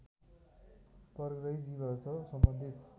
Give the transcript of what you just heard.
परग्रही जीवहरूसँग सम्बन्धित